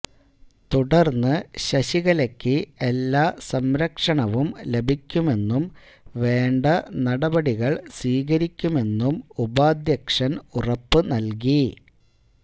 തുടര്ന്ന് ശശികലയ്ക്ക് എല്ലാ സംരക്ഷണവും ലഭിക്കുമെന്നും വേണ്ട നടപടികള് സ്വീകരിക്കുമെന്നും ഉപാധ്യക്ഷന് ഉറപ്പു നല്കി